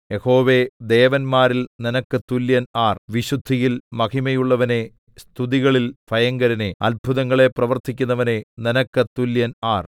യഹോവേ ദേവന്മാരിൽ നിനക്ക് തുല്യൻ ആർ വിശുദ്ധിയിൽ മഹിമയുള്ളവനേ സ്തുതികളിൽ ഭയങ്കരനേ അത്ഭുതങ്ങളെ പ്രവർത്തിക്കുന്നവനേ നിനക്ക് തുല്യൻ ആർ